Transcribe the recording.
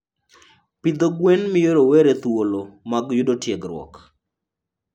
Pidho gwen miyo rowere thuolo mag yudo tiegruok.